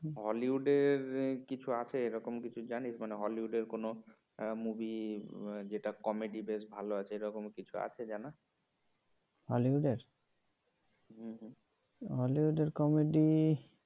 hollywood কিছু আছে এরকম কিছু জানিস hollywood কোন movie যেটা comedy বেশ ভালো আছে এরকম কিছু আছে জানা hollywood হুম হুম hollywood comedy